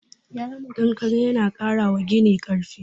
Konkare yana ƙara wa gini karfi